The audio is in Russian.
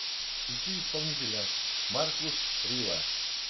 включи исполнителя маркус рива